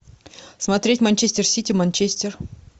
смотреть манчестер сити манчестер